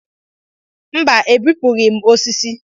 Mba, ebipụghị m osisi.